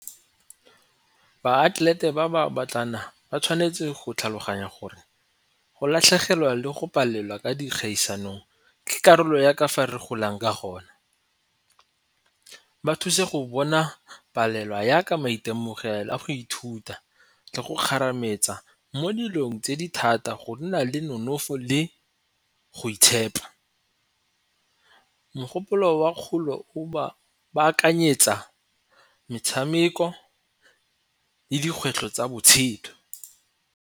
Baatlelete ba ba batlana ba tshwanetse go tlhaloganya gore go latlhegelwa le go palelwa ka dikgaisanong ke karolo ya kafa re golang ka gona. Ba thuse go bona palelwa yaka maitemogelo a go ithuta le go kgarametsa mo dilong tse di thata go nna le nonofo le go itshepa. Mogopolo wa kgolo o ba akanyetsa metshameko le dikgwetlho tsa botshelo.